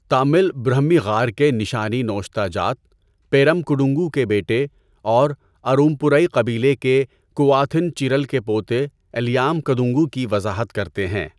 تامل برہمی غار کے نشانی نوشتہ جات، پیرم کڈونگو کے بیٹے اور ارومپورائی قبیلے کے کو آتھن چیرل کے پوتے الیام کدونگو کی وضاحت کرتے ہیں۔